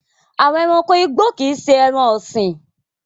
Àwọn ẹranko igbó kì í ṣé ẹran-ọ̀sìn.